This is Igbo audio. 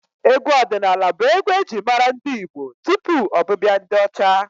Egwu ọdịnaala bụ egwu e ji mara ndị Igbo tupu ọbịbịa ndị ọcha.